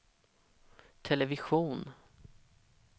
television